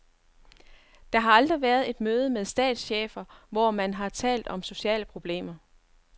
Der har aldrig været et møde med statschefer, hvor man har talt om sociale problemer.